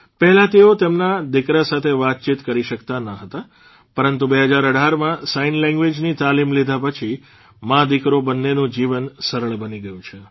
પહેલાં તેઓ તેમના દિકરા સાથે વાતચીત કરી શક્તા ન હતા પરંતુ ૨૦૧૮માં સાઇન લેંગ્વેઝની તાલીમ લીધા પછી માદીકરો બંનેનું જીવન સરળ બની ગયું છે